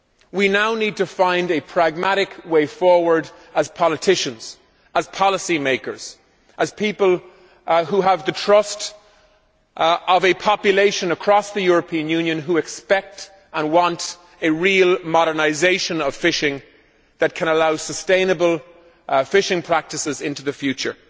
We now need to find a pragmatic way forward as politicians, as policy makers and as people who have the trust of the population across the European Union who expect and want a real modernisation of fishing that can allow sustainable fishing practices into the future.